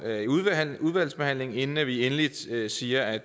i udvalgsbehandlingen inden vi endeligt siger at